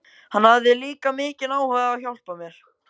Hann hafði líka mikinn áhuga á að hjálpa mér.